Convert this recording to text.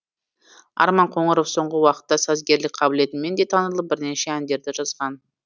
арман қоңыров соңғы уақытта сазгерлік қабілетімен де танылып бірнеше әндерді жазған